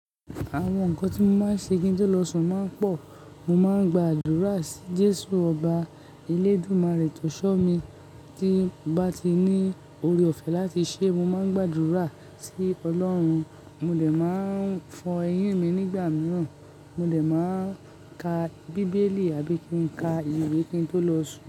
Àwọn nǹkan tí mo máa ń ṣe kí n tó lọ sùn máa ń pọ̀. Mo máa ń gba àdúrà sí Jésù ọba Eledumare tòṣó mi. Tí mo bá ti ní oore-ọ̀fẹ́ láti ṣe, mo máa ń gba àdúrà sí Olórun. Mo de máa fọn eyín mi nígbà mìíràn, mo de máa ka bíbélì àbí kí n ka ìwé kí n tó lọ sùn.